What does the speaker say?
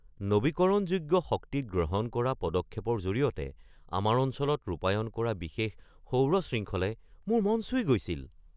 নৱীকৰণযোগ্য শক্তিত গ্ৰহণ কৰা পদক্ষেপৰ জৰিয়তে আমাৰ অঞ্চলত ৰূপায়ণ কৰা বিশাল সৌৰ শৃংখলে মোৰ মন চুই গৈছিল।